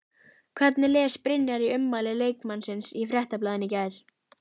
Hvernig les Brynjar í ummæli leikmannsins í Fréttablaðinu í gær?